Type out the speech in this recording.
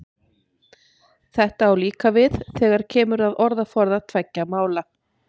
Þetta á líka við þegar kemur að orðaforða tveggja mála.